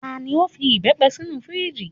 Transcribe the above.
Tani o fi ìbepé sinu firiji?